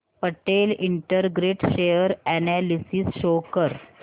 Patel integrate share analysis show कर